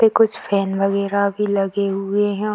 इस पर कुछ फैन वगेरा भी लगे हुए हैं औ --